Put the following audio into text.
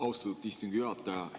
Austatud istungi juhataja!